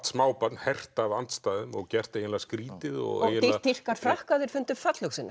smábarn hert af andstæðum og gert eiginlega skrýtið og dýrkar Frakka þeir fundu